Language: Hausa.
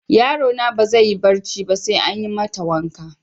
Yaro na ba zai yi barci ba sai an yi mata waka.